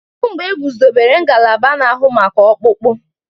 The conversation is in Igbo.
Kedụ mgbe egwuzobere ngalaba na-ahụ maka ọkpụkpụ?